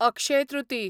अक्षय तृतीय